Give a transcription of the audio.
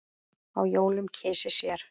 á jólum kysi sér.